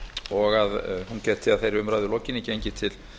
og að hún gæti að þeirri umræðu lokinni gengið til